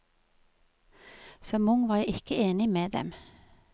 Som ung var jeg ikke enig med dem.